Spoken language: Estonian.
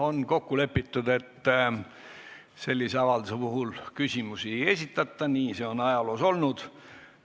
On kokku lepitud, et sellise avalduse puhul küsimusi ei esitata, nii see on ajaloos olnud.